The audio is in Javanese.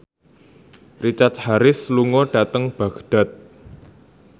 Richard Harris lunga dhateng Baghdad